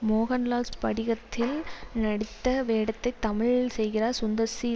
மோகன்லால் ஸ்படிகத்தில் நடித்த வேடத்தை தமிழில் செய்கிறார் சுந்தர் சி